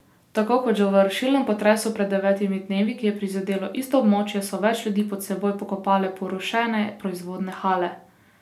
Tako kot že v rušilnem potresu pred devetimi dnevi, ki je prizadel isto območje, so več ljudi pod seboj pokopale porušene proizvodne hale.